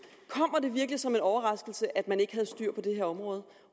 kommer det virkelig som en overraskelse at man ikke havde styr på det her område